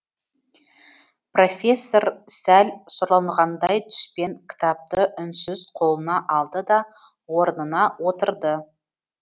профессор сәл сұранғандай түспен кітапты үнсіз қолына алды да орнына отырды